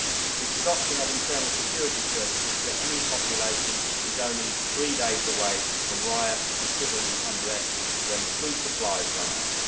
It is a doctrine of internal security services that any population is only three days away from riots and civil unrest when the food supplies run out.